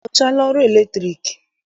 Ị mụchaala ọrụ latriki?